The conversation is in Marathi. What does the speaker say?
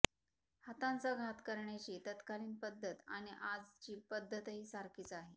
हातांचा घात करण्याची तत्कालीन पद्धत आणि आजची पद्धतही सारखीच आहे